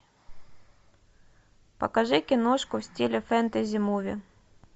покажи киношку в стиле фэнтези муви